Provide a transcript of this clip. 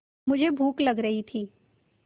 मुझे भूख लग रही थी